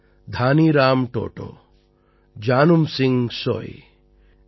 தானீராம் ட் டோடோ ஜானும் சிங் சோய் பீ